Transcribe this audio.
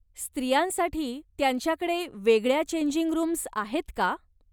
स्त्रियांसाठी त्यांच्याकडे वेगळ्या चेंजिंग रूम्ज आहेत का?